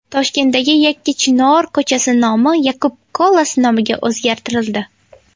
Toshkentdagi Yakkachinor ko‘chasi nomi Yakub Kolas nomiga o‘zgartirildi.